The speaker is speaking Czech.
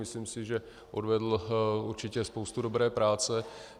Myslím si, že odvedl určitě spoustu dobré práce.